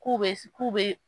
K'u bɛ k'u bɛ